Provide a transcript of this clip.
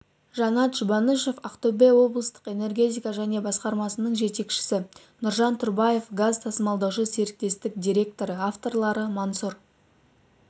жанат жұбанышев ақтөбе облыстық энергетика және басқармасының жетекшісі нұржан тұрбаев газ тасымалдаушы серіктестік директоры авторлары мансұр